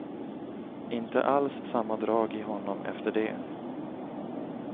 Inte alls samma drag i honom efter det.